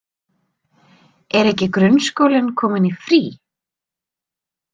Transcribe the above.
Er ekki grunnskólinn kominn í frí?